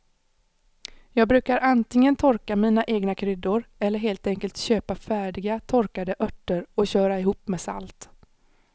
Jag brukar antingen torka mina egna kryddor eller helt enkelt köpa färdiga torkade örter och köra ihop med salt.